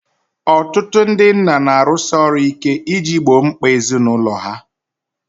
Ọtụtụ ndị nna na-arụsi ọrụ ike iji gboo mkpa ezinụlọ ha